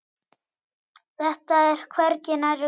Þetta er hvergi nærri nóg.